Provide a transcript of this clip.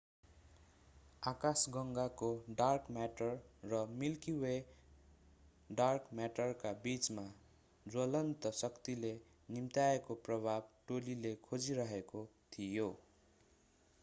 आकाशगंगाको dark matter र milky वेको dark म्याटरका बीचमा ज्वलन्त शक्तिले निम्त्याएको प्रभाव टोलीले खोजिरहेको थियो